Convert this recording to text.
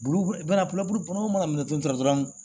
Bulubu mana minɛ dɔrɔn